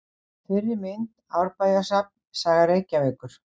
Fyrri mynd: Árbæjarsafn: Saga Reykjavíkur.